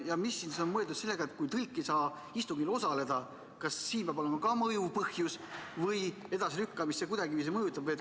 Ja mida on mõeldud sellega, et kui tõlk ei saa istungil osaleda – kas siin peab olema ka mõjuv põhjus või mõjutab see edasilükkamist kuidagiviisi?